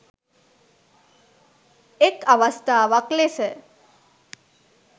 එක් අවස්ථාවක් ලෙස